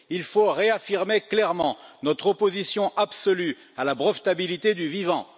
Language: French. Il faut réaffirmer clairement notre opposition absolue à la brevetabilité du vivant.